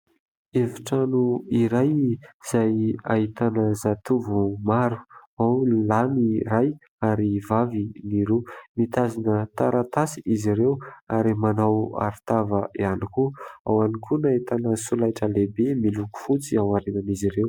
Efitrano iray izay ahitana zatovo maro, ao ny lahy ny iray ary vavy ny roa ; mitazona taratasy izy ireo ary manao arotava ihany koa, ao ihany koa no ahitana solaitra lehibe miloko fotsy ao aorian'izy ireo.